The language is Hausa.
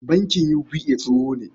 Bankin UBA tsoho ne.